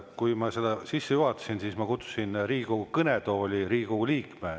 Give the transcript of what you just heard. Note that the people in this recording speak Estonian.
Kui ma seda sisse juhatasin, siis ma kutsusin Riigikogu kõnetooli Riigikogu liikme.